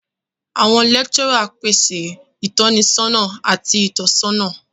Awọn lecturers pese itọnisọna ati itọsọna.